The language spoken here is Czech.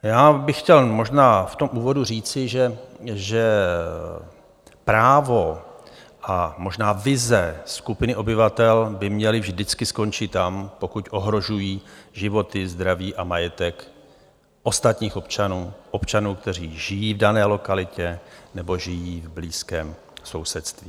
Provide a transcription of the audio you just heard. Já bych chtěl možná v tom úvodu říci, že právo a možná vize skupiny obyvatel by měly vždycky skončit tam, pokud ohrožují životy, zdraví a majetek ostatních občanů, občanů, kteří žijí v dané lokalitě nebo žijí v blízkém sousedství.